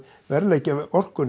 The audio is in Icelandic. verðleggja orkuna